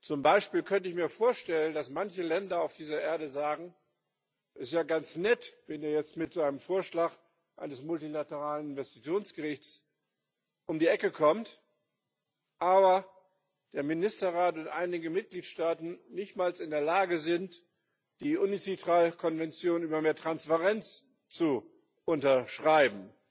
Zum Beispiel könnte ich mir vorstellen, dass manche Länder auf dieser Erde sagen Es ist ja ganz nett, wenn der jetzt mit seinem Vorschlag eines multilateralen Investitionsgerichts um die Ecke kommt, aber der Ministerrat und einige Mitgliedstaaten nicht mal in der Lage sind, die Uncitral Konvention über mehr Transparenz zu unterschreiben.